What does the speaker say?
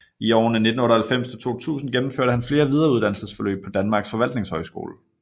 I årene 1998 til 2000 gennemførte han flere videreuddannelsesforløb på Danmarks Forvaltningshøjskole